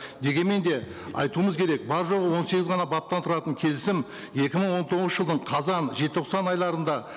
дегенмен де айтуымыз керек бар жоғы он сегіз ғана баптан тұратын келісім екі мың он тоғызыншы жылдың қазан желтоқсан айларында